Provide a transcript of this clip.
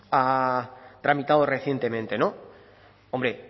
ha tramitado recientemente hombre